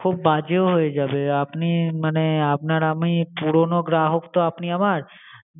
খুব বাজে হয়ে যাবে, আপনি মানে আপনার আমি পুরনো গ্রাহক তো আপনি আমার,